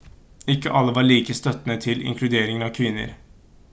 ikke alle var like støttende til inkluderingen av kvinner